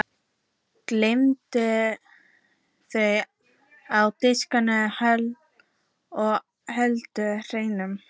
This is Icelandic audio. Geymið þau á diski og haldið heitum.